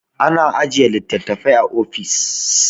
ana ajiye litattafai a ofis